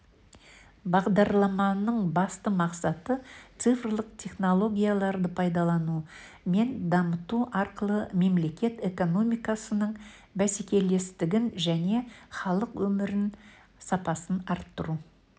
бағдарламаның басты мақсаты цифрлық технологияларды пайдалану мен дамыту арқылы мемлекет экономикасының бәсекелестігін және халық өмірінің сапасын арттыру